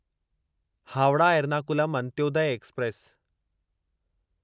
Howrah Ernakulam Antyodaya express